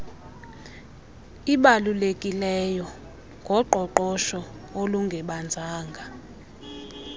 ibalulekileyo ngoqoqosho olungebanzanga